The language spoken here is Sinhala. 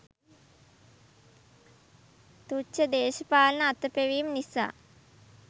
තුච්ඡ දේශපාලන අතපෙවීම් නිසා